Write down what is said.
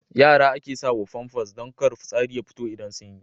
Yara ake sawa Famfas don kar fitsari ya fito idan sun yi.